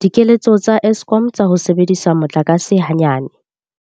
Dikeletso tsa Eskom tsa ho sebedisa motlakase hanyane.